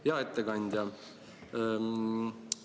Hea ettekandja!